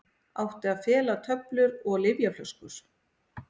Átti að fela töflur og lyfjaflöskur